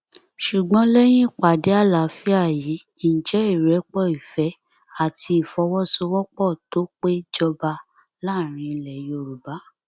ṣùgbọn lẹyìn ìpàdé àlàáfíà yìí ǹjẹ ìrẹpọ ìfẹ àti ìfọwọsowọpọ tó pé jọba láàrin ilẹ yorùbá